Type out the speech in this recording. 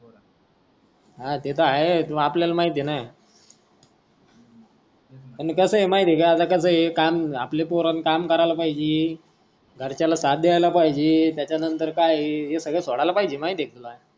हा ते आहेच पण आपल्याला माहित आहेच ना आण कस आहे माहित आहे का आता कस आहे काम आपले पोर काम केल पाहिजे घरच्या ला साथ द्यायला पाहिजे त्याचा नंतर काय आहे हे सगड सोडायला पाहिजे माहित आहे तुला.